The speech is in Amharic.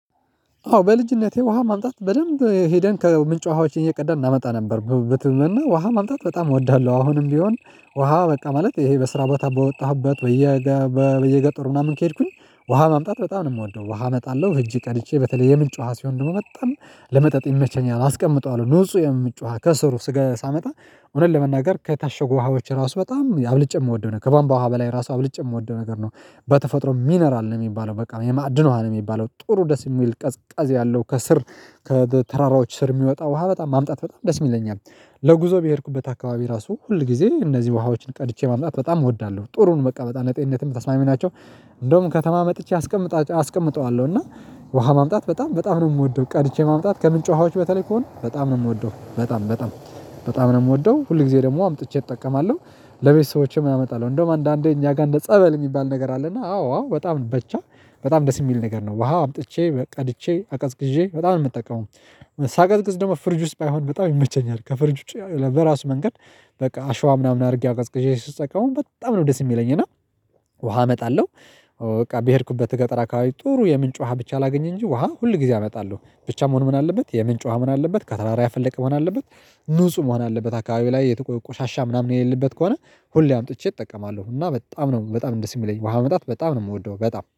አዎ በልጅነቴ ውሃ ማምጣት በደንብ ሄደን ከምንጭ ውሃዎች እየቀዳን እናመጣ ነበር በትንበልና ውሃ ማምጣት በጣም እወዳለሁ። አሁንም ቢሆን ውሃ በቃ ማለት ይሄ በስራ ቦታ በወጣሁበት በየ በየገጠሩ ምናምን ከሄድኩኝ ውሃ ማምጣት በጣም ነው የምወደው። ውሃ እመጣለሁ እጅ ቀድቼ በተለይ የምንጭ ውሃ ሲሆን ደግሞ መጣም ለመጠጥ ይመቸኛል። አስቀምጠዋለሁ ንጹህ የምትጮህ ከስሩ ስጋ ሳመጣ እውነት ለመናገር ከታሸጉ ውሃዎች ራሱ በጣም አብልጬ የምወደው ነገር ከባምባ ውሃ በላይ ራሱ አብልጭ የምወደው ነገር ነው። በተፈጥሮ ሚነራል ነው የሚባለው በቃ የማዕድን ውሃ ነው የሚባለው ጥሩ ደስ የሚል ቀዝቃዝ ያለው ከስር ከተራራዎች ስር የሚወጣ ውሃ በጣም ማምጣት በጣም ደስ ይለኛል። ለጉዞ በሄድኩበት አካባቢ ራሱ ሁል ጊዜ እነዚህ ውሃዎችን ቀድቼ ማምጣት በጣም እወዳለሁ ጥሩን በቃ ለጤንነትም ተስማሚ ናቸው። እንደውም ከተማ መጥቼ አስቀምጠ አስቀምጠዋለሁ እና ውሃ ማምጣት በጣም በጣም ነው የምወደው። ቀድቼ ማምጣት ከምን ጮሃዎች በተለይ ከሆነ በጣም ነው የምወደው በጣም በጣም በጣም ነው የምወደው ሁል ጊዜ ደግሞ አምጥቼ እጠቀማለሁ። ለቤተሰቦቼም አመጣለሁ እንደውም አንዳንዴ እኛ ጋር እንደ ጸበል የሚባል ነገር አለና አዎ አዎ በጣም በቻ በጣም ደስ የሚል ነገር ነው። ውሃ አምጥቼ ቀድቼ አቀዝቅዤ በጣም ነው የምጠቀመው ሳቀዝቅዝ ደግሞ ፍርጅ ውስጥ ባይሆን በጣም ይመቸኛል። ከፍርጅ በራስ መንገድ በቃ አሸዋ ምናምን አድርጌ አቀዝቅዤ ስትሰቃው በጣም ነው ደስ የሚለኝ እና ውሃ እመጣለሁ። በቃ በሄድኩበት ገጠራ አከባቢ ጥሩ የምንጭ ውሃ ብቻ ላገኝ እንጂ ውሃ ሁል ጊዜ አመጣለሁ ብቻ መሆን ምን አለበት የምን ጫዋ ምን አለበት ከተራራ ያፈለቀ መሆን አለበት። ንጹህ መሆን አለበት አካባቢ ላይ የተ ቆሻሻ ምናምን የሌለበት ከሆነ ሁሌ አምጥቼ እጠቀማለሁ። እና በጣም በጣም እንደዚህ የሚለኝ ውሃ መጣት በጣም ነው የምወደው። በጣም